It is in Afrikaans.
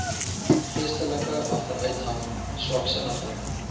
geestelike agteruitgang swaksinnigheid